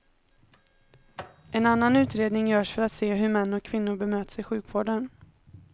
En annan utredning görs för att se hur män och kvinnor bemöts i sjukvården.